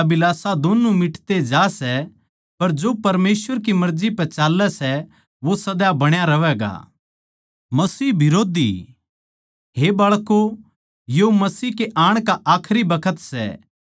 मन्नै थारै ताहीं इस करकै न्ही लिख्या के थम सच्चाई नै न्ही जाणदे पर इस करकै कै थम उस ताहीं जाणो सों क्यूँके कोए भी झूठ सच की ओड़ तै कोनी लिकड़ता